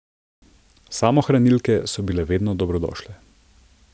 Samohranilke so bile vedno dobrodošle.